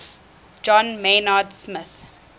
john maynard smith